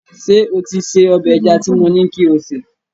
Ṣé o ti se ọbẹ̀ ẹja tí mo ní kí o sè